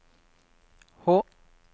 H